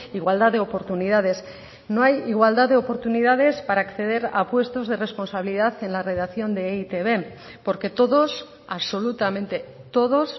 igualdad de oportunidades no hay igualdad de oportunidades para acceder a puestos de responsabilidad en la redacción de e i te be porque todos absolutamente todos